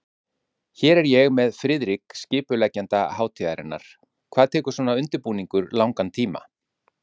Hér er ég með Friðrik, skipuleggjanda hátíðarinnar, hvað tekur svona undirbúningur langan tíma?